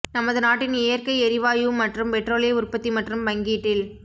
நமது நாட்டின் இயற்கை எரிவாயு மற்றும் பெட்ரோலிய உற்பத்தி மற்றும் பங்கீட்டில்